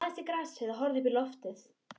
Hann lagðist í grasið og horfði uppí loftið.